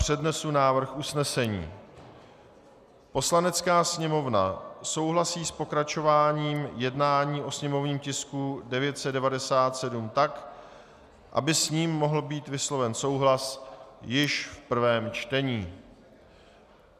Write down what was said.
Přednesu návrh usnesení: "Poslanecká sněmovna souhlasí s pokračováním jednání o sněmovním tisku 997 tak, aby s ním mohl být vysloven souhlas již v prvém čtení."